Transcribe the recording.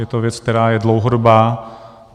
Je to věc, která je dlouhodobá.